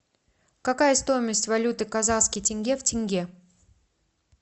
какая стоимость валюты казахских тенге в тенге